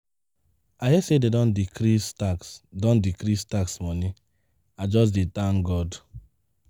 I hear say dey don decrease tax don decrease tax money. I just dey thank God.